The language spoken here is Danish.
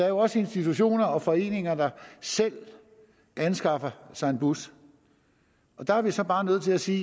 jo også institutioner og foreninger der selv anskaffer sig en bus og der er vi så bare nødt til at sige